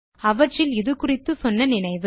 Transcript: அவற்றில் இது குறித்து சொன்ன நினைவு